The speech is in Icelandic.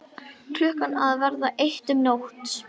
Klukkan að verða eitt um nótt!